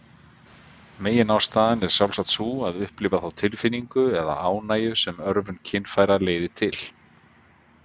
Meginástæðan er sjálfsagt sú að upplifa þá tilfinningu eða ánægju sem örvun kynfæra leiðir til.